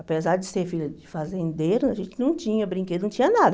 Apesar de ser filha de fazendeiro, a gente não tinha brinquedo, não tinha nada.